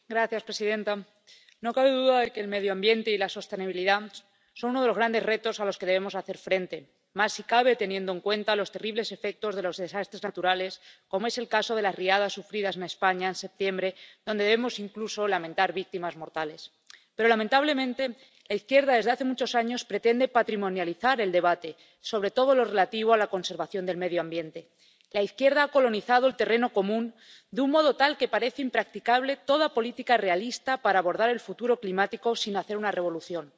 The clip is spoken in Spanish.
Señora presidenta, no cabe duda de que el medio ambiente y la sostenibilidad son uno de los grandes retos a los que debemos hacer frente, más si cabe teniendo en cuenta los terribles efectos de los desastres naturales, como es el caso de las riadas sufridas en España en septiembre, donde debemos incluso lamentar víctimas mortales. Pero, lamentablemente, la izquierda, desde hace muchos años, pretende patrimonializar el debate sobre todo lo relativo a la conservación del medio ambiente. La izquierda ha colonizado el terreno común, de un modo tal que parece impracticable toda política realista para abordar el futuro climático sin hacer una revolución.